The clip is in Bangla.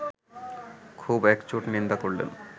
খুব একচোট নিন্দা করলেন